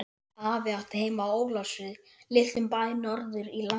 Afi átti heima í Ólafsfirði, litlum bæ norður í landi.